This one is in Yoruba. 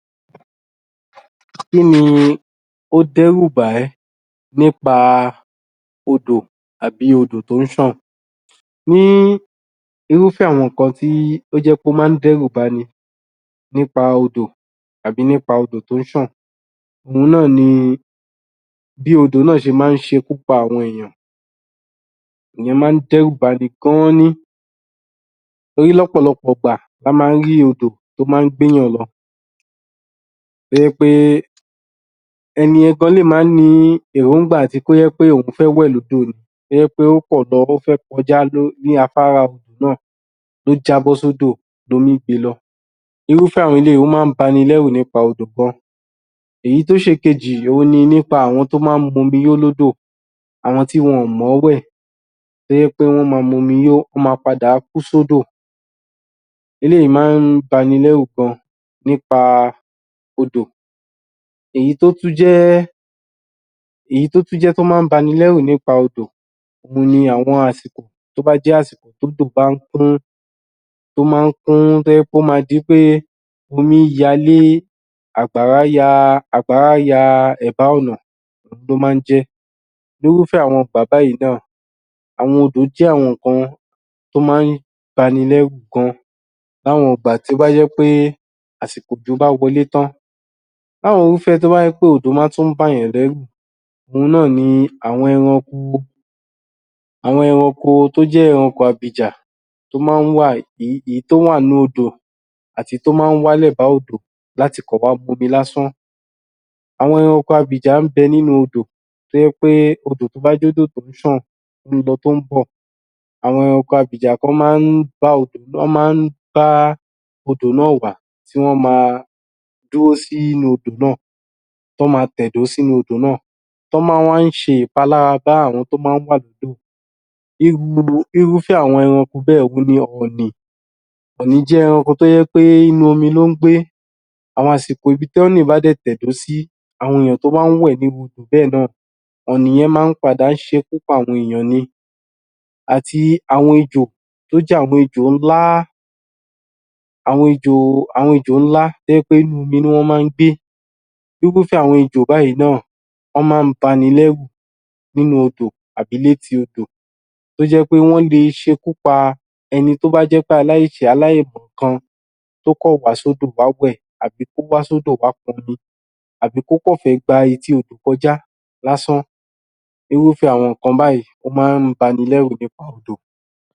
Kí ni ó dẹ́rù bà ẹ́ nípa odò tàbí odò tó ń ṣàn? Ní irúfẹ́ àwọn nǹkan tí ó jẹ́ pé ó máa ń dẹ́rù ba ni nípa odò àbí nípa odò tó ń ṣàn òun náà ni bí odò náà ṣe máa ń ṣe ikú pa àwọn èèyàn ìyẹn máa ń dẹ́rù ba ni gan an ni torí lọ́pọ̀lọpọ̀ ìgbà la máa ń rí odò tó máa ń gbé èèyàn lọ tó jẹ́ pé ẹni yẹn gan lè má ní èròńgbà àti kó jẹ́ pé òun fẹ́ wẹ̀ lódò ni kó jẹ́ pé ó pọ̀ ó fẹ́ kọjá ní afárá odò náà ó jábọ́ sódò lomí gbe lọ irúfẹ́ àwọn eléyìí ó máa ń bani lẹ́rù nípa odò gan Èyí tó ṣe èkejì òun ni nípa àwọn tó máa ń mu omi yó lódò, àwọn tí wọn ò mọ̀ ọ́ wẹ̀ tó jẹ́ pé wọ́n máa mu yó wọ́n máa padà kú sódò eléyìí máa ń ba ni lẹ́rù gan nípa odò èyí tó tún jẹ́ èyí tó tún jẹ́ tó máa ń ba ni lẹ́rù nípa odò ní àwọn àsìkò tó bá jẹ́ àsìkò tí odò máa ń kún ó máa ń kún, tó jẹ́ pé ó máa di pé omíyalé, àgbàrá ya ẹ̀bá ọ̀nà ló máa ń jẹ́. Irúfẹ́ àwọn ìgbà báyìí náà àwọn odò jẹ́ àwọn nǹkan tó máa ń ba ni lẹ́rù gan láwọn ìgbà tó bá jẹ́ pé àsìkò òjò bá wọlé tán láwọn irúfẹ́ tó jẹ́ pé òjò máa tún ń bà èèyàn lẹ́rù òun náà ni àwọn ẹranko àwọn ẹranko tó jẹ́ ẹranko abìjà èyí tó wà nínú odò àti èyí tó máa ń wà lẹ́ba odò láti kàn wá mu omi lásán àwọn ẹranko abìjà ń bẹ nínú odò tó jẹ́ pé odò tó bá jẹ́ odò tó ń ṣàn tó lọ tó ń bọ̀ àwọn ẹranko abìjà kan wọ́n máa ń bá odò náà wá tí wọ́n máa dúró sínú odò náà tí wọ́n máa tẹ̀dó sínú odò náà tí wọ́n máa ń wá ṣe ìpalára bá àwọn tí wọ́n wà ládùúgbò irúfẹ́ àwọn ẹranko bẹ́ẹ̀ òun ni ọ̀ọ̀nì ọ̀ọ̀nì jẹ́ ẹranko kan tó jẹ́ inú omi ló ń gbé àwọn àsìkò ibi tí ọ̀ọ̀nì bá dẹ̀ tẹ̀dó sí, àwọn èèyàn tó bá ń wẹ̀ nínú irú odò bẹ́ẹ̀ náà ọ̀ọ̀nì yẹn máa ń padà ṣe ikú pa àwọn èèyàn ni àti àwọn ejò tó jẹ́ àwọn ejò ńlá àwọn ejò ńlá tó jẹ́ pé inú omi ni wọ́n máa ń gbé irúfẹ́ àwọn ejò báyìí náà, wọ́n máa ń ba ni lẹ́rù nínú odò àbí léti odò tó jẹ́ pé wọ́n lè ṣe ikú pa ẹni tó bá jẹ́ aláìṣẹ̀, aláìmọ̀kan tó kàn wá sódò wá wẹ̀, tàbí ó wá sódò wá pọnmi àbí kó kàn fẹ́ gba etí odò kọjá lásán irúfẹ́ àwọn nǹkan báyìí ó máa ń ba ni lẹ́rù nípa odò